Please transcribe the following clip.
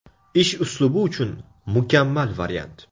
Ish uslubi uchun mukammal variant.